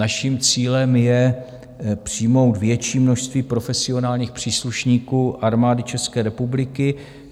Naším cílem je přijmout větší množství profesionálních příslušníků Armády České republiky.